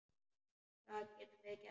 Hvað getum við gert?